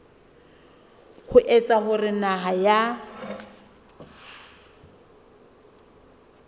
ho etsa hore naha ya